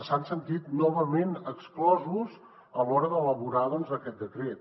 s’han sentit novament exclosos a l’hora d’elaborar aquest decret